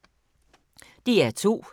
DR2